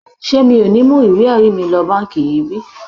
Ṣé mi ò ní mú ìwé ẹ̀rí mi lọ báǹkì yìí bí?